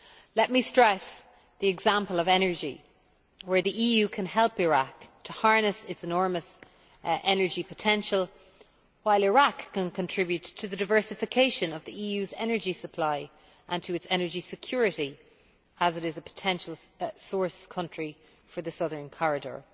Let me stress the example of energy, where the EU can help Iraq to harness its enormous energy potential, while Iraq can contribute to the diversification of the EU's energy supply and to its energy security as it is a potential source country for the Southern Corridor.